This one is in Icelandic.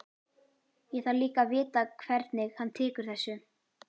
Ég þarf líka að vita hvernig hann tekur þessu.